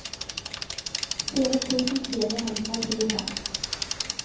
fire tusen fire hundre og tjuefem